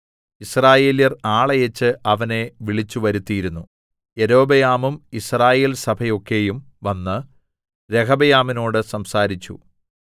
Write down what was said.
യിസ്രായേല്യർ ആളയച്ച് അവനെ വിളിച്ചു വരുത്തിയിരുന്നു യൊരോബെയാമും യിസ്രായേൽസഭയൊക്കെയും വന്ന് രെഹബെയാമിനോട് സംസാരിച്ചു